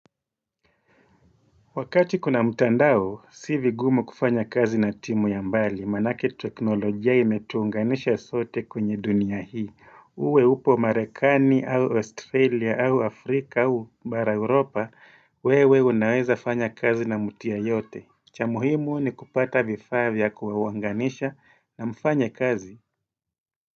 Wakati kuna mtandao, si vigumu kufanya kazi na timu ya mbali, maanake teknolojia imetuunganisha sote kwenye dunia hii. Uwe upo Marekani, au Australia, au Afrika, au bara Europa, wewe unaweza fanya kazi na mtu yeyote. Cha muhimu ni kupata vifaa vya kuwawanganisha na mfanye kazi.